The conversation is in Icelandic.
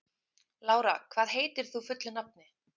Lára, hvað heitir þú fullu nafni?